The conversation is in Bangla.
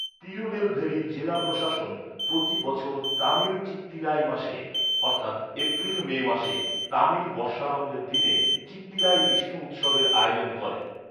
তিরুনেলভেলি জেলা প্রশাসন প্রতি বছর তামিল চিত্তিরাই মাসে অর্থাৎ এপ্রিল মে মাসে, তামিল বর্ষারম্ভের দিনে চিত্তিরাই বিষ্ণু উৎসবের আয়োজন করে।